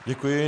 Děkuji.